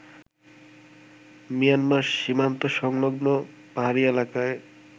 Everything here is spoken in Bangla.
মিয়ানমার সীমান্তসংলগ্ন পাহাড়ি এলাকায়